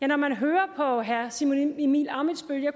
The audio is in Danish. når man hører på herre simon emil ammitzbøll